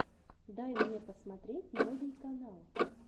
дай мне посмотреть новий канал